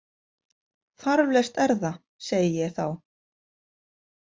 Þarflaust er það, segi ég þá.